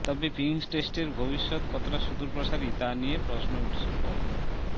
তবে পিঙ্ক টেস্টের ভবিষ্যত কতটা সুদূরপ্রসারী তা নিয়ে প্রশ্ন উঠেছে প